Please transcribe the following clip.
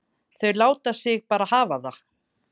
Þau láta sig bara hafa það.